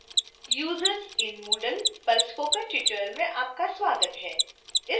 users in moodle पर spoken tutorial में आपका स्वागत है